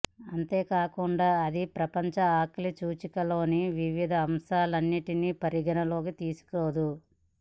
అంతేకాకుండా అది ప్రపంచ ఆకలి సూచిక లోని వివిధ అంశాలన్నింటినీ పరిగణన లోకి తీసుకోదు